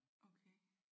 Okay